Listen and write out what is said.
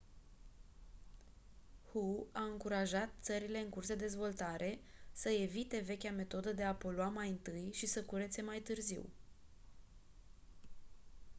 hu a încurajat țările în curs de dezvoltare să evite vechea metodă de a polua mai întâi și să curețe mai târziu